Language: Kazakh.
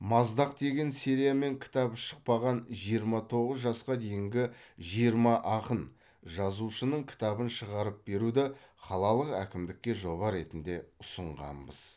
маздақ деген сериямен кітабы шықпаған жиырма тоғыз жасқа дейінгі жиырма ақын жазушының кітабын шығарып беруді қалалық әкімдікке жоба ретінде ұсынғанбыз